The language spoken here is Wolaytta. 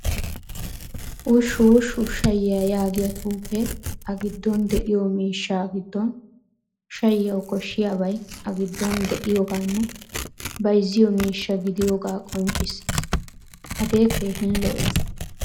Wushwush shayiyaa yaagiyaa xuufe a giddon de'iyo miishshaa giddon shayiyawu koshshiyabay a giddon de'iyoganne bayzziyo miishshaa gidiyoga qonccissees. Hagee keehin lo'ees.